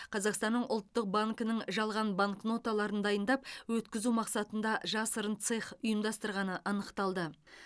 қазақстанның ұлттық банкінің жалған банкноталарын дайындап өткізу мақсатында жасырын цех ұйымдастырғаны анықталды